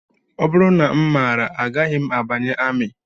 Ọ bụrụ na m maara agaghị m abanye amị